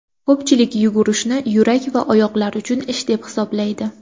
Ko‘pchilik yugurishni yurak va oyoqlar uchun ish deb hisoblaydi.